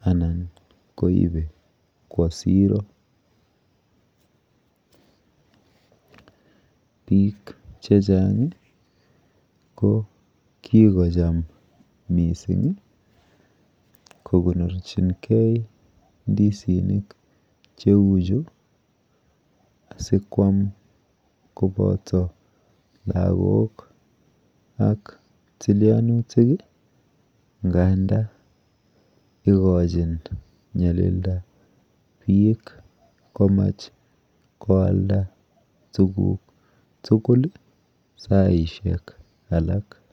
anan koibe Kwa siro bik chechang ko kikocham mising kokonorchin gei indisinik cheu Chu sikwam kobata lagok ak tilianutik ngandan igochin nyalindabik komach kwalda tuguk tugul saishek alak